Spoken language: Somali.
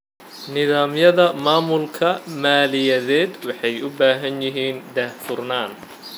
Nidaamyada maamulka maaliyadeed waxay u baahan yihiin daahfurnaan.